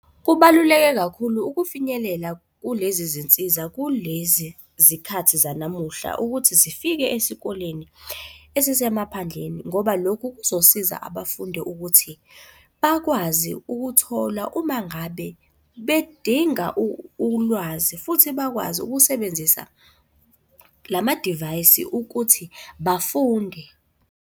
Kubaluleke kakhulu ukufinyelela kulezi zinsiza kulezi zikhathi zanamuhla ukuthi zifike esikoleni esisemaphandleni ngoba lokhu kuzosiza abafundi ukuthi bakwazi ukuthola uma ngabe bedinga ulwazi futhi bakwazi ukusebenzisa lamadivayisi ukuthi bafunde.